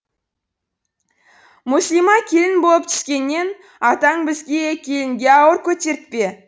мүслима келін болып түскеннен атаң бізге келінге ауыр көтертпе